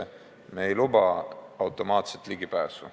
Aga me ei luba ikkagi automaatset ligipääsu.